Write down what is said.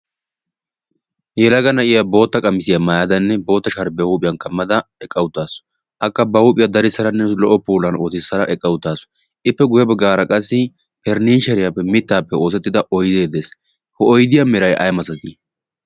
heelaga na'iya bootta qamisiyaa maayadanne bootta shaaribiyaa huuphiyan kammada eqqautaasu akka ba huuphiyaa darissaranne lo"o poulan ootissara eqqautaasu ippe guebggaara qassi periniisheriyaappe mittaappe oosettida oydee dees. h oidiyaa mirai ai masatii?